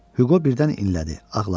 Hüqo birdən inlədi, ağladı.